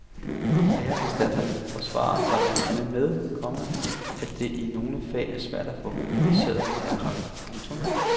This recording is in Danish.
Læreanstalterne forsvarer sig blandt andet med, komma at det i nogle fag er svært at få kvalificerede lærerkræfter. punktum